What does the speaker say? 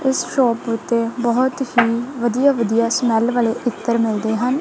ਇਸ ਸ਼ੌਪ ਓੱਤੇ ਬਹੁਤ ਹੀ ਵਧੀਆ-ਵਧੀਆ ਸਮੇੱਲ ਵਾਲੇ ਇੱਤਰ ਮਿਲਦੇ ਹਨ।